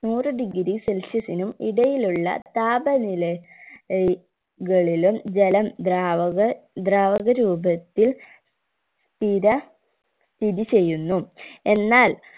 നൂറ് degree celsius നും ഇടയിലുള്ള താപനില ഏർ കളിലും ജലം ദ്രാവക ദ്രാവക രൂപത്തിൽ സ്ഥിര സ്ഥിതി ചെയ്യുന്നു എന്നാൽ